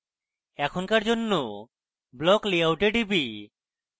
এখনকার জন্য block layout এ টিপি